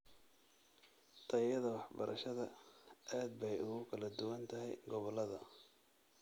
Tayada waxbarashada aad bay ugu kala duwan tahay gobollada.